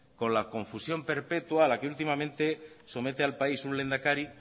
con la confusión perpetua a la que últimamente somete al país un lehendakari